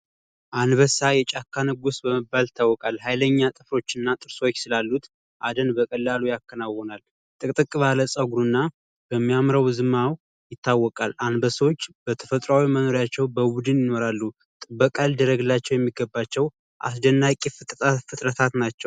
አንበሳ የጫካ ንጉስ በመቤል ይታወቃል ሀይለኛ ጥፍሮች እና ጥርሶች ስላሉት አደን በቀላሉ ያከናውናል ጸጉርና በሚያምረው ይታወቃል አንበሶች በተፈጥሯዊያቸው በውድን ይኖራሉ አስደናቂ ፍጥረታት ናቸው።